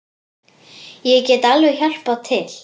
Ég get alveg hjálpað til.